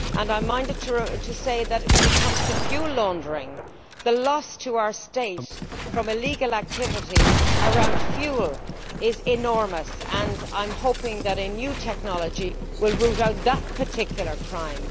I am minded to say that when it comes to fuel laundering, the loss to our State from illegal activities concerning fuel is enormous and I am hoping that a new technology will root out that particular crime.